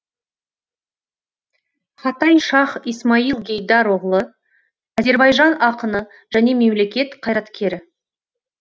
хатай шаһ исмаил гейдар оғлы азербайжан ақыны және мемлекет қайраткері